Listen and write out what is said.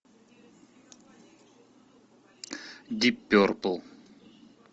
дип перпл